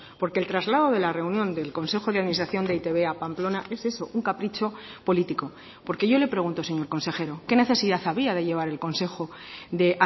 porque el traslado de la reunión del consejo de administración de e i te be a pamplona es eso un capricho político porque yo le pregunto señor consejero qué necesidad había de llevar el consejo de